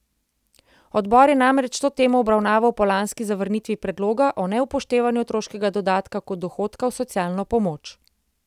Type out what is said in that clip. Odbor je namreč to temo obravnaval po lanski zavrnitvi predloga o neupoštevanju otroškega dodatka kot dohodka v socialno pomoč.